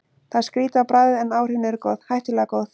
Það er skrýtið á bragðið, en áhrifin eru góð, hættulega góð.